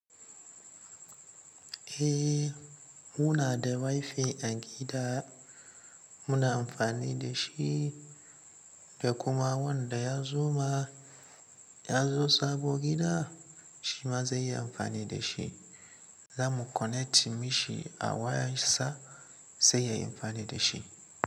Eh, muna da WiFi a gida muna amfani da shi da kuma wanda ya zo ma, ya zo sabo gida shi ma zai yi amfani da shi. Za mu connect mishi a waya sa, sai ya yi amfani da shi.